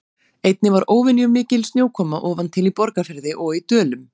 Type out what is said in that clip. Einnig var óvenjumikil snjókoma ofan til í Borgarfirði og í Dölum.